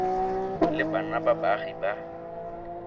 le bana ba baagi ba